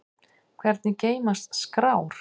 Hvernig geymast skrár?